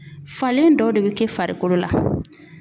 Falen dɔw de be kɛ farikolo la.